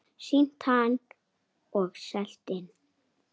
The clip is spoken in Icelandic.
Sýnt hann og selt inn.